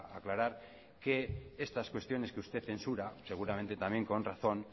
aclarar que estas cuestiones que usted censura seguramente también con razón